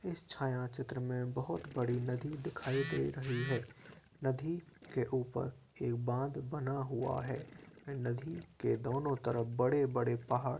इस छाया चित्र में बहुत बडी नदी दिखाई दे रही है नदी के ऊपर एक बांध बना हुआ है नदी के दोनों तरफ बड़े बड़े पहाड़ --